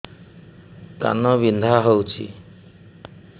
କାନ ବିନ୍ଧା ହଉଛି